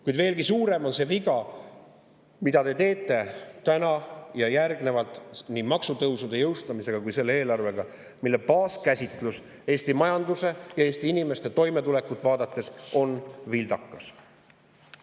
Kuid veelgi suurem on see viga, mille te teete nii täna ja edaspidi maksutõusude jõustamisega kui ka selle eelarvega, mille baaskäsitlus Eesti majanduse ja Eesti inimeste toimetulekut vaadates on vildakas.